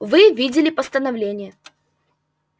вы видели постановление